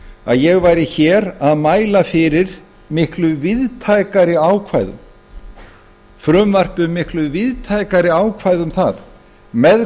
að ég væri hér að mæla fyrir miklu víðtækari ákvæðum frumvarpi um miklu víðtækari ákvæði um það með